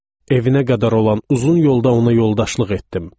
Evinə qədər olan uzun yolda ona yoldaşlıq etdim.